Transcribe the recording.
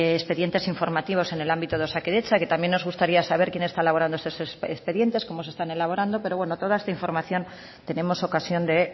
expedientes informativos en el ámbito de osakidetza que también nos gustaría saber quien está elaborando esos expedientes cómo se están elaborando pero bueno toda esta información tenemos ocasión de